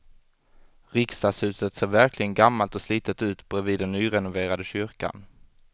Riksdagshuset ser verkligen gammalt och slitet ut bredvid den nyrenoverade kyrkan.